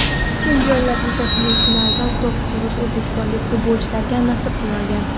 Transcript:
Chempionlar Ligasining finalida to‘p surish o‘zbekistonlik futbolchilarga nasib qilmagan.